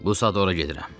Bu sadorə gedirəm.